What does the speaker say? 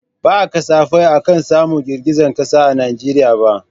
Ba kasafai ake samun girgizar kasa a Najeriya ba.